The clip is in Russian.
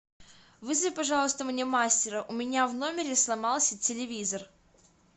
вызови пожалуйста мне мастера у меня в номере сломался телевизор